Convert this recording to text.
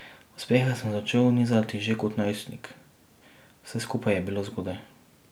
Uspehe sem začel nizati že kot najstnik, vse skupaj je bilo zgodaj.